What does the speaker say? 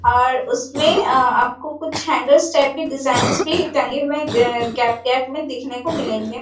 और उसमें आपको कुछ हैंगर्स टाइप की डिज़ाइन भी टंगे हुए है वे गैप गैप में देखने को मिलेंगे।